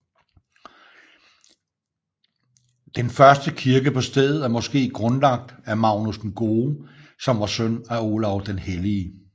Den første kirke på stedet er måske grundlagt af Magnus den Gode som var søn af Olav den Hellige